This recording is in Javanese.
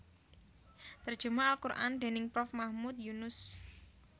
Terjemah al Qur an déning Prof Mahmud Yunus